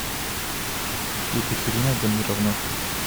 екатерина тамировна